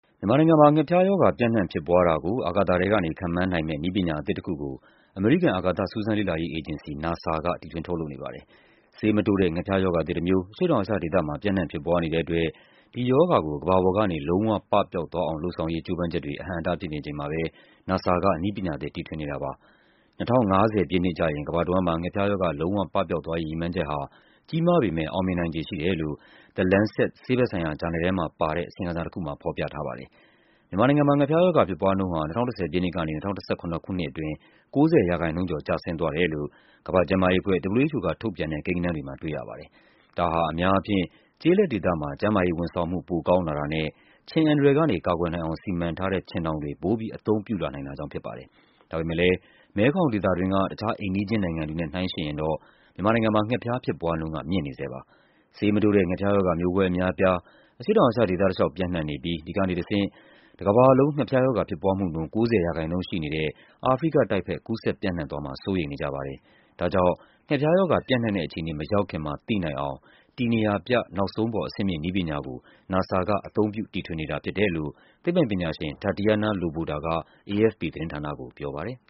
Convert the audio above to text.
မြန်မာနိုင်ငံမှာ ငှက်ဖျားရောဂါ ပြန့်နှံ့ဖြစ်ပွားတာကို အာကာသထဲကနေ ခန့်မှန်းနိုင်မယ့် နည်းပညာအသစ်တခုကို အမေရိကန် အာကာသ စူးစမ်းလေ့လာရေးအေဂျင်စီ NASA က တီထွင်ထုတ်လုပ်နေပါတယ်။ ဆေးမတိုးတဲ့ ငှက်ဖျားရောဂါသစ်တမျိုး အရှေ့ တောင်အာရှဒေသမှာ ပြန့်နှံ့ဖြစ်ပွားနေတဲ့အတွက် ဒီရောဂါကို ကမ္ဘာပေါ်ကနေ လုံးဝပပျောက်သွားအောင် လုပ်ဆောင်ရေး ကြိုးပမ်းချက်တွေ အဟန့်အတားဖြစ်နေချိန်မှာပဲ NASA က နည်းပညာသစ် တီထွင်နေတာဖြစ်ပါတယ်။ ၂၀၅၀ ပြည့်နှစ်ကျရင် ကမ္ဘာတဝန်းမှာ ငှက်ဖျားရောဂါ လုံးဝပပျောက်သွားရေး ရည်မှန်းချက်ဟာ ကြီးမားပေမယ့် အောင်မြင်နိုင်ခြေ ရှိတယ်လို့ The Lancet ဆေးဘက်ဆိုင်ရာဂျာနယ်ထဲမှာပါတဲ့ အစီရင်ခံစာတခုမှာ ဖော်ပြထားပါတယ်။ မြန်မာနိုင်ငံမှာ ငှက်ဖျားရောဂါဖြစ်ပွားနှုန်းဟာ ၂၀၁၀ ပြည့်နှစ်ကနေ ၂၀၁၇ ခုနှစ်အတွင်း ၉၀% ကျော် ကျဆင်းသွားတယ်လို့ ကမ္ဘာ့ကျန်းမာရေးအဖွဲ့ WHO က ထုတ်ပြန်တဲ့ကိန်းဂဏန်းတွေမှာ တွေ့ရပါတယ်။ ဒါဟာ အများအားဖြင့် ကျေးလက်ဒေသမှာ ကျန်းမာရေးဝန်ဆောင်မှု ပိုကောင်းလာတာနဲ့ ခြင်အန္တရာယ်ကနေ ကာကွယ်နိုင်အောင် စီမံထားတဲ့ ခြင်ထောင်တွေ ပိုပြီး အသုံးပြု လာနိုင်တာကြောင့်ဖြစ်ပါတယ်။ ဒါပေမယ့်လည်း မဲခေါင်ဒေသတွင်းက တခြားအိမ်နီးချင်းနိုင်ငံတွေနဲ့ နှိုင်းယှဉ်ရင်တော့ မြန်မာနိုင်ငံမှာ ငှက်ဖျားဖြစ်ပွားနှုန်းက မြင့်နေဆဲပါ။ ဆေးမတိုးတဲ့ ငှက်ဖျားရောဂါ မျိုးကွဲအများအပြား အရှေ့တောင်အာရှဒေသတလျှောက် ပြန်နှံ့နေပြီး ဒီကနေတဆင့် တကမ္ဘာလုံး ငှက်ဖျားရောဂါဖြစ်ပွားမှုနှုန်း ၉၀% ရှိနေတဲ့ အာဖရိကတိုက်ဘက် ကူးစက်ပြန့်နှံ့သွားမှာ စိုးရိမ်နေကြပါတယ်။ ဒါကြောင့် ငှက်ဖျားရောဂါ ပြန့်နှံ့တဲ့အခြေအနေ မရောက်ခင်မှာ သိနိုင်အောင် တည်နေရာပြ နောက်ဆုံးပေါ် အဆင့်မြင့် နည်းပညာ ကို NASA က အသုံးပြု တီထွင်နေတာဖြစ်တယ်လို့ သိပ္ပံပညာရှင် Tatiana Loboda က AFP သတင်းဌာနကို ပြောပါတယ်